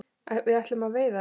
Við ætlum að veiða þær